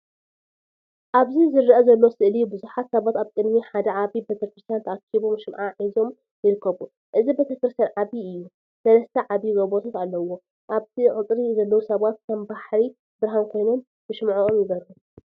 ኣብዚ ዝረአ ዘሎ ስእሊ ብዙሓት ሰባት ኣብ ቅድሚ ሓደ ዓቢ ቤተክርስትያን ተኣኪቦም ሽምዓ ሒዞም ይርከቡ። እቲ ቤተክርስትያን ዓቢ እዩ፣ ሰለስተ ዓበይቲ ጎቦታት ኣለዎ፣ ኣብ እቲ ቀጽሪ ዘለዉ ሰባት ከም ባሕሪ ብርሃን ኮይኖም ብሽምዓኦም ይበርሁ።